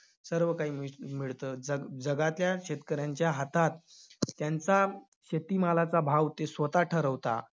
सर्व काही मिस~ मिळतं. जग~ जगातल्या शेतकऱ्यांच्या हातात त्यांचा शेतीमालाचा भाव ते स्वतः ठरवता.